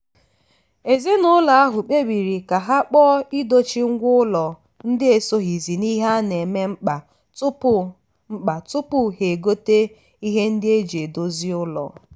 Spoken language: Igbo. ezinụlọ ahụ kpebiri ka ha kpọọ idochi ngwa ụlọ ndị esoghizi n'ihe a na-eme mkpa tupu mkpa tupu ha egote ihe ndị eji edozi ụlọ.